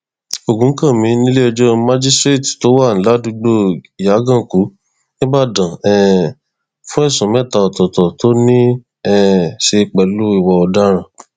ògúnkànmí níléẹjọ májíṣẹẹtì tó wà ládùúgbò ìyàgànkù níìbàdàn um fún ẹsùn mẹta ọtọọtọ tó ní í um ṣe pẹlú ìwà ọdaràn